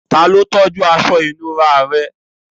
Ta ló tọ́jú tówẹ́ẹ̀nù rẹ?